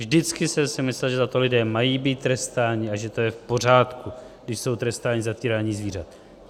Vždycky jsem si myslel, že za to lidé mají být trestáni a že to je v pořádku, když jsou trestáni za týrání zvířat.